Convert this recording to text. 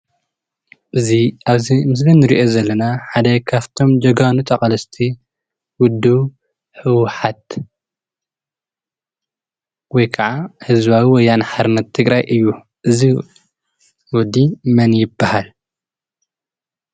እዚ ኣብዚ ምስሊ እንሪኦ ዘለና ሓደ ካፍቶም ጀጋኑ ተቓለስቲ ዉድብ ህዉሓት ወይ ክዓ ህዝባዊ ወያነ ሓርነት ትግራይ እዩ። እዚ ወዲ መን ይብሃል?